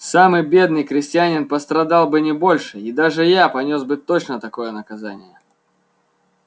самый бедный крестьянин пострадал бы не больше и даже я понёс бы точно такое наказание